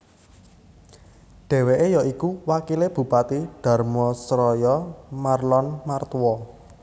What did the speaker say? Dheweke ya iku wakile Bupati Dharmasraya Marlon Martua